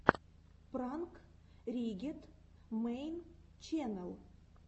пранк риггет мэйн ченнэл